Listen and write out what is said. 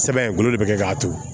Sɛbɛn golo de be kɛ k'a turu